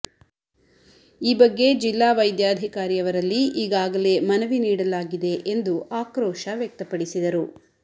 ಈ ಬಗ್ಗೆ ಜಿಲ್ಲಾ ವೈದ್ಯಾಧಿಕಾರಿಯವರಲ್ಲಿ ಈಗಾಗಲೇ ಮನವಿ ನೀಡಲಾಗಿದೆ ಎಂದು ಆಕ್ರೋಶ ವ್ಯಕ್ತಪಡಿಸಿದರು